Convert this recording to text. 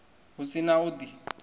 hu si na u di